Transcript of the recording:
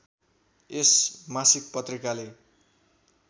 यस मासिक पत्रिकाले